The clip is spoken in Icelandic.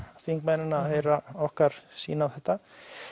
þingmennina að heyra okkar sýn á þetta